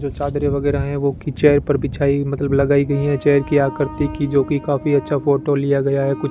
जो चादरें वगैरह है वो खिंचाये पर बिछाई मतलब लगाई गयी है चेयर की आकृति की जो की काफी अच्छा फोटो लिया गया है कुछ --